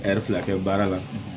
Ɛri fila kɛ baara la